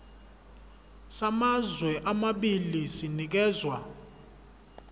samazwe amabili sinikezwa